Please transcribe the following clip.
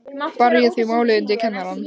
Bar ég því málið undir kennarann.